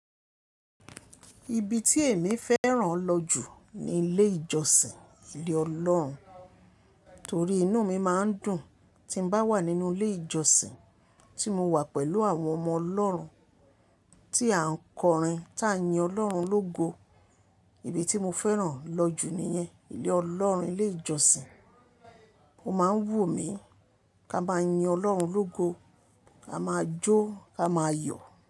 Ibi tí èmi fẹ́ran lọ jù ni ilé ìjọsìn, ilé Ọlọ́run. Torí inú mi máa ń dùn tí n bá wà nínú ilé ìjọsìn tí mo wà pẹ̀lú àwọn ọmọ Ọlọ́run tí à ń kọrin tán yin Ọlọ́run lógo. Ibi tí mo fẹ́ran lọ jù nìyẹn, ilé Ọlọ́run, ilé ìjọsìn. Ó máa ń wù mí kí a máa yin Ọlọ́run lógo, ka máa jó, ka máa yọ̀.